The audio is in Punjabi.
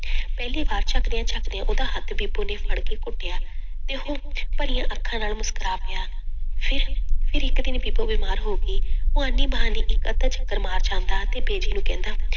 ਪਹਿਲੀ ਵਾਰ ਜਕਦਿਆਂ ਜਕਦਿਆਂ ਉਹਦਾ ਹੱਥ ਬੀਬੋ ਨੇ ਫੜਕੇ ਘੁੱਟਿਆ ਤੇ ਉਹ ਭਰੀਆਂਂ ਅੱਖਾਂ ਨਾਲ ਮੁਸ਼ਕਰਾ ਪਿਆ, ਫਿਰ ਫਿਰ ਇੱਕ ਦਿਨ ਬੀਬੋ ਬਿਮਾਰ ਹੋ ਗਈ, ਉਹ ਆਨੀ ਬਹਾਨੀ ਇੱਕ ਅੱਧਾ ਚੱਕਰ ਮਾਰ ਜਾਂਦਾ ਤੇ ਬੀਜੀ ਨੂੰ ਕਹਿੰਦਾ